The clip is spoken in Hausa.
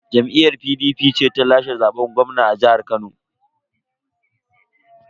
Jam'iyyar PDP ce ta lashe zaben gwamna a jihar Kano.